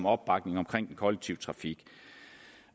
opbakningen omkring den kollektive trafik